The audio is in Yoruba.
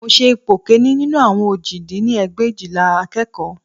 Mo ṣe ipò kìíní nínú àwọn òjì dín ní ẹgbẹ̀éjìlá akẹ́kọ̀ọ́